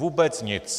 Vůbec nic.